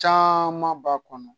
Caman b'a kɔnɔ